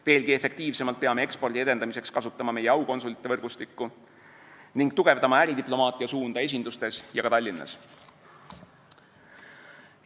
Veelgi efektiivsemalt peame ekspordi edendamiseks kasutama meie aukonsulite võrgustikku ning tugevdama äridiplomaatia suunda esindustes ja ka Tallinnas.